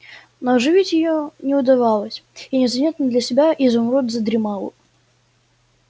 но оживить её не удавалось и незаметно для себя изумруд задремал